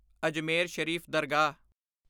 ਅਜਮੇਰ ਸ਼ਰੀਫ ਦਰਗਾਹ